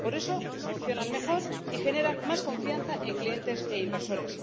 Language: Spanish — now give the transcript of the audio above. Por eso funcionan mejor y generan más confianza en clientes e inversores